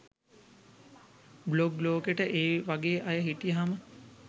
blog ලෝකෙට ඒ වගේ අය හිටියහම